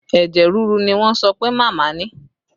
Ẹ̀jẹ̀ rírú ni wọ́n sọ pé màmá ni